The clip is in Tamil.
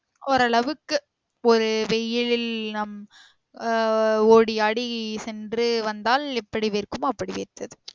ஓரளவுக்கு ஒரு வெயிலில் நம் அஹ் ஓடி ஆடி சென்று வந்தால் எப்படி வேர்க்குமோ அப்படி வேர்த்தது